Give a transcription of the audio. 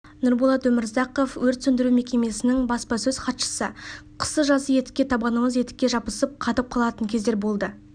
нұрболат өмірзақов өрт сөндіру мекемесінің баспасөз хатшысы қысы-жазы етікте табанымыз етікке жабысып қатып қалатын кездер болды